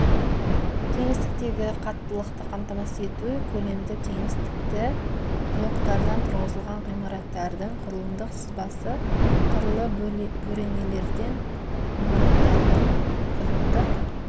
кеңістіктегі қаттылықты қамтамасыз ету көлемді кеңістікті блоктардан тұрғызылған ғимараттардың құрылымдық сызбасы қырлы бөренелерден ғимараттардың құрылымдық